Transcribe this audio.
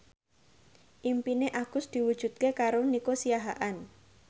impine Agus diwujudke karo Nico Siahaan